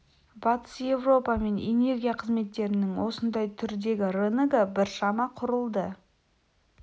батыс еуропа мен энергия қызметтерінің осындай түрдегі рыногы біршама құрылды